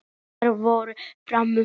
Og þar voru farmenn frá